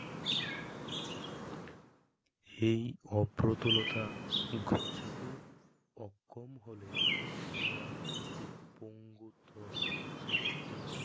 এই অপ্রতুলতা গচ্ছাতে অক্ষম হলে আমরা একটি পঙ্গুক্ত যা থেকে